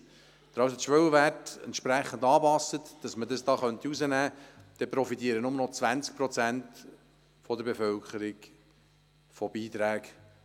Würden die Schwellenwerte also angepasst, sodass man das hier herausbrechen könnte, profitierten nur noch 20 Prozent der Bevölkerung von Beiträgen.